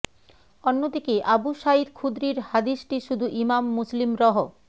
অন্যদিকে Abu Saeed খুদরীর হাদিসটি শুধু ইমাম মুসলিম রহ